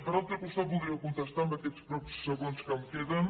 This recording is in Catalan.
per altre costat vol dria contestar en aquests pocs segons que em queden